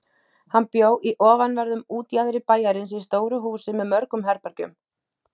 Hann bjó í ofanverðum útjaðri bæjarins í stóru húsi með mörgum herbergjum.